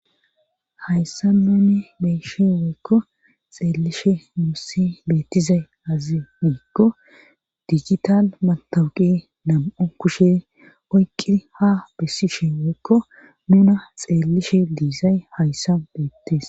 hayssa nune beyshe woykko xeellishe muussi beettizay azi miikko dijital matawuqi nam7u kushe oyqqi ha bessishe woykko nuna xeellishe diizay hayssa beettes